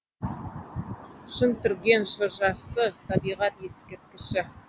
шыңтүрген шыршасы табиғат ескерткіші